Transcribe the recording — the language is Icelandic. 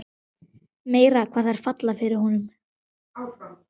Meira hvað þær falla fyrir honum!